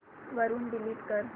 वरून डिलीट कर